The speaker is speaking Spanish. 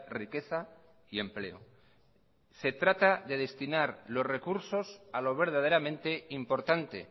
riqueza y empleo se trata de destinar los recursos a lo verdaderamente importante